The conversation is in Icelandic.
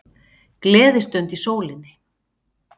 Gleðistund í sólinni